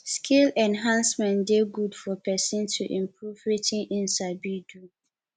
skill enhancement de good for persin to improve wetin im sabi do